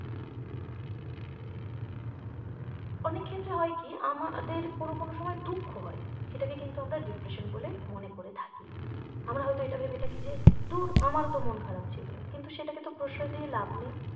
অনেক ক্ষেত্রে হয়কি আমাদের কোনো কোনো সময় দুঃখ হয় সেটাকে কিন্তু আমরা depression বলে মনে করে থাকি আমরা হয়তো এটা ভেবে থাকি যে ধুর আমার ও তো মন খারাপ ছিল কিন্তু সেটাকে তো প্রশসই দিয়ে লাব নেই